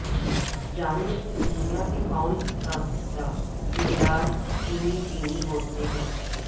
جانیں کہ دنیا کے کون سا حصے مینڈار چینی چینی بولتے ہیں